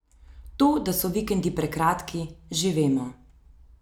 To da so vikendi prekratki, že vemo.